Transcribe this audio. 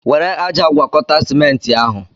Were ájá gwakọta simenti ahụ!